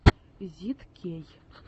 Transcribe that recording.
зидкей